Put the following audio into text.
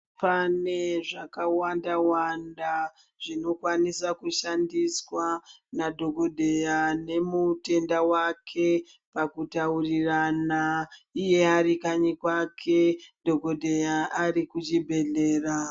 Pane zvakawanda Wanda zvinokwanisa kushandiswa madhokodheya nemutenda wake pakutaurirana iye ari kanyi kwake dhokodheya ari kuchibhedhlera.